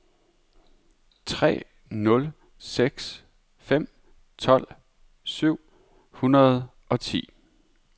tre nul seks fem tolv syv hundrede og ti